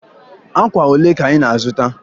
Akwa olee ka ị na-azụta?